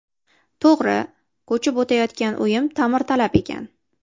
To‘g‘ri, ko‘chib o‘tayotgan uyim ta’mirtalab ekan.